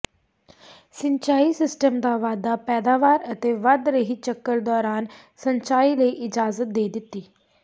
ਸਿੰਚਾਈ ਸਿਸਟਮ ਦਾ ਵਾਧਾ ਪੈਦਾਵਾਰ ਅਤੇ ਵਧ ਰਹੀ ਚੱਕਰ ਦੌਰਾਨ ਸਿੰਚਾਈ ਲਈ ਇਜਾਜ਼ਤ ਦੇ ਦਿੱਤੀ